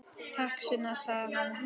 Takk, Sunna, sagði hann.